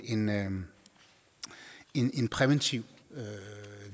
en en præventiv